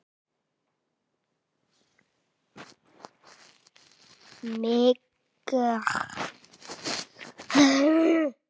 Mig geym í gæslu þinni.